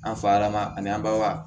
An fa lama ani anba